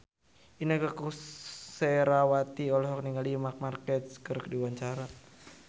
Inneke Koesherawati olohok ningali Marc Marquez keur diwawancara